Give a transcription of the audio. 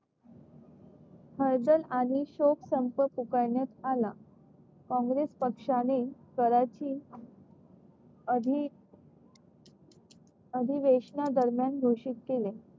आणि शोक संप पुकारण्यात आला काँग्रेस पक्षाने कराची आधी अधिवेशना दरम्यान घोषित केले.